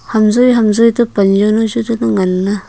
ham joi ham joi to pan jaonu chu tale ngan le.